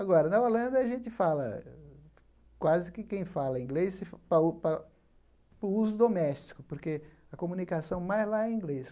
Agora, na Holanda, a gente fala, quase que quem fala inglês, para o uso doméstico, porque a comunicação mais lá é em inglês.